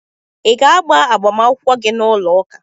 Ị ga-agba agbamakwụkwọ gị n'ụlọụka?